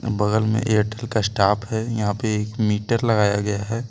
बगल में एयरटेल का स्टाफ है यहां पे एक मीटर लगाया गया है।